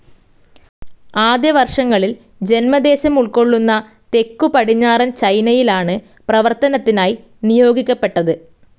ആദ്യ വർഷങ്ങിൽ ജന്മദേശമുൾക്കൊള്ളുന്ന തെക്ക് പടിഞ്ഞാറൻ ചൈനയിലാണ് പ്രവർത്തനത്തിനായി നിയോഗിക്കപ്പെട്ടത്.